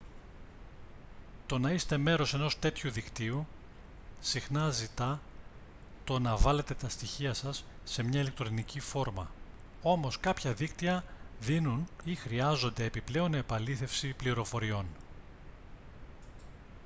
το να είστε μέρος ενός τέτοιου δικτύου συχνά ζητά το να βάλετε τα στοιχεία σας σε μια ηλεκτρονική φόρμα όμως κάποια δίκτυα δίνουν ή χρειάζονται επιπλέον επαλήθευση πληροφοριών